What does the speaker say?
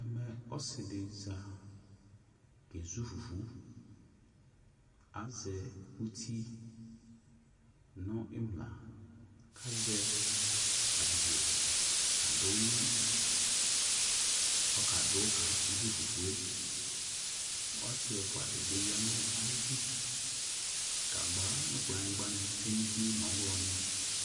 Ɔsɩdɩ za kezʊ fufu azɛ ʊtɩ nʊ imla kʊ azɛ abidzo kadunu kezu asɩ ɛfʊa dɩbɩ yanʊ ayɩdʊ gagba nʊ kplanyigba nʊ ɔwlɔnɩ tsue nʊ utie